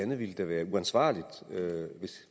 det ville da være uansvarligt